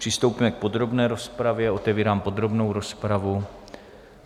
Přistoupíme k podrobné rozpravě, otevírám podrobnou rozpravu.